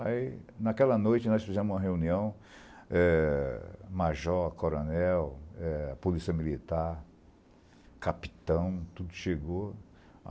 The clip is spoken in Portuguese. Aí, naquela noite, nós fizemos uma reunião, eh major, coronel, eh polícia militar, capitão, tudo chegou.